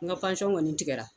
N ka kɔni tigɛra